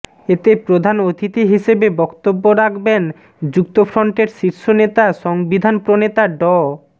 এতে প্রধান অতিথি হিসেবে বক্তব্য রাখবেন যুক্তফ্রন্টের শীর্ষ নেতা সংবিধানপ্রণেতা ড